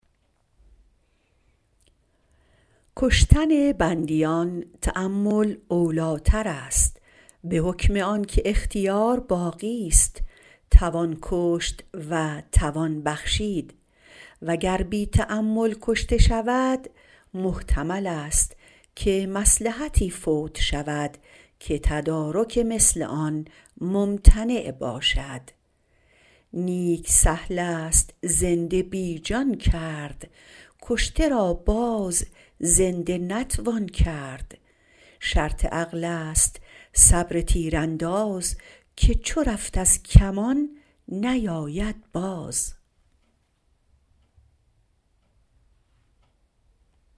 کشتن بندیان تأمل اولی تر است به حکم آن که اختیار باقیست توان کشت و توان بخشید و گر بی تأمل کشته شود محتمل است که مصلحتی فوت شود که تدارک مثل آن ممتنع باشد نیک سهل است زنده بی جان کرد کشته را باز زنده نتوان کرد شرط عقل است صبر تیرانداز که چو رفت از کمان نیاید باز